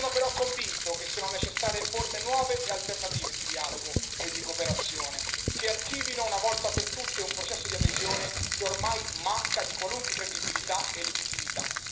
Sono però convinto che siano necessarie forme nuove e alternative di dialogo e di cooperazione, che archivino una volta per tutte un processo di adesione che ormai manca di qualunque credibilità e legittimità.